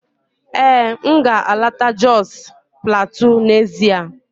Ee, m ga-eleta Jos Plateau n'ezie